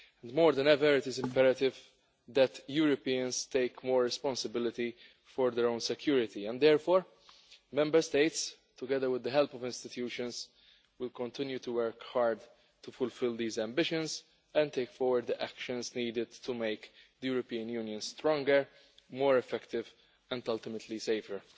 More than ever, it is imperative that Europeans take more responsibility for their own security, and therefore Member States, together with the help of institutions, will continue to work hard to fulfil these ambitions and take forward the actions needed to make the European Union stronger, more effective and, ultimately, safer.